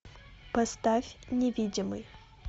поставь невидимый